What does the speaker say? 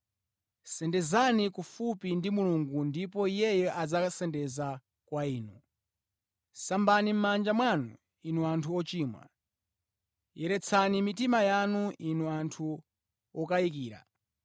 Sendezani kufupi ndi Mulungu ndipo Iye adzasendeza kwa inu. Sambani mʼmanja mwanu, inu anthu ochimwa. Yeretsani mitima yanu, inu anthu okayikira.